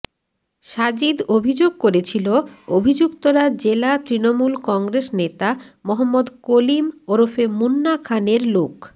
সাজিদ অভিযোগ করেছিল অভিযুক্তরা জেলা তৃণমূল কংগ্রেস নেতা মহম্মদ কলিম ওরফে মুন্না খানের লোক